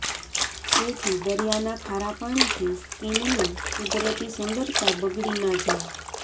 જેથી દરિયાના ખારા પાણીથી સ્કીનની કુદરતી સુંદરતા બગડી ના જાય